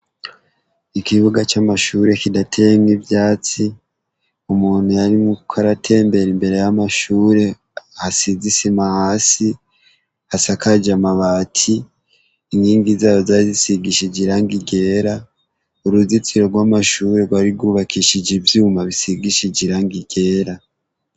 Ikibuga c'amashure kidateyemwo ivyatsi, umuntu arimwo aratembera imbere y'amashure hasize isima hasi hasakaje amabati, inkingi zayo zari zisigishije irangi ryera, uruzitiro tw'amashurwe rw'ari ry'ubakishijwe ivyuma bisigishije irangi ryera.